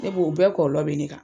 Ne b'o bɛɛ kɔlɔlɔ be ne kan.